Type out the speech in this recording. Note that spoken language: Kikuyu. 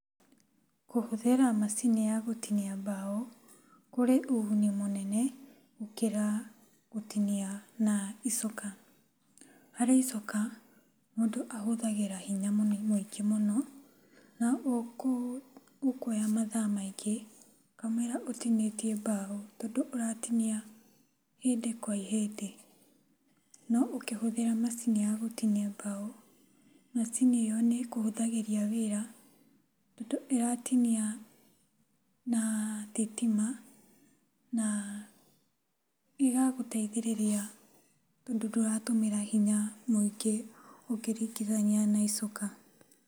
Kũhũthĩra macini ya gũtinia mbaũ kũrĩ ũguni mũnene gũkĩra gũtinia na icoka. Harĩ icoka mũndũ ahũthagĩra hinya mũingĩ mũno na ũkuoya mathaa maingĩ mũno kamũira ũtinĩtie mbaũ tondũ ũratinia ihĩndĩ kwa ihĩndĩ, no ũkĩhũthĩra macini ya gũtinia mbaũ, macini ĩo nĩ ĩkũhũthagĩria wĩra tondũ ĩratinia na thitima na ĩgagũteithĩrĩria tondũ ndũratũmĩra hinya mũingĩ ũkĩringithania na icoka.